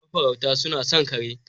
Mafarauta suna son kare.